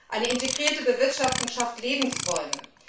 Eine integrierte Bewirtschaftung schafft Lebensräume.